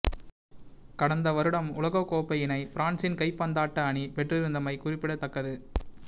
கடந்த வருடம் உலகக் கோப்பையினைப் பிரான்சின் கைப்பந்தாட்ட அணி பெற்றிருந்தமை குறிப்பிடத்தக்கது